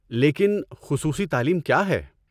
لیکن، خصوصی تعلیم کیا ہے؟